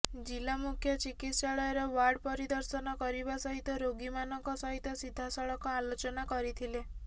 ଜିଲ୍ଲା ମୁଖ୍ୟ ଚିକିତ୍ସାଳୟର ୱାର୍ଡ ପରିଦର୍ଶନ କରିବା ସହିତ ରୋଗୀମାନଙ୍କ ସହିତ ସିଧାସଳଖ ଆଲୋଚନା କରିଥିଲେ